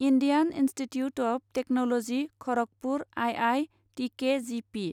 Indian institute of technology Kharagpur I I T K G P